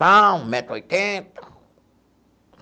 metro e oitenta.